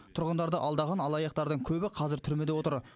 тұрғындарды алдаған алаяқтардың көбі қазір түрмеде отыр